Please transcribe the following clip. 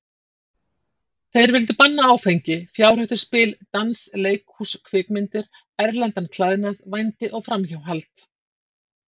Þeir vildu banna áfengi, fjárhættuspil, dans, leikhús, kvikmyndir, erlendan klæðnað, vændi og framhjáhald.